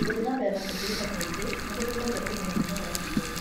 Gũthiĩ na mbere kũhurũka kaingĩ nĩ gũteithagia kũniina mĩnoga ya ciĩga.